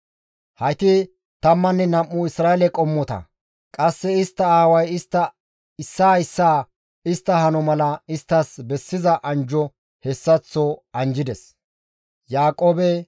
Hayti tammanne nam7u Isra7eele qommota; qasse istta aaway istta issaa issaa istta hano mala isttas bessiza anjjo hessaththo anjjides.